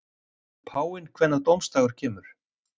Veit páfinn hvenær dómsdagur kemur?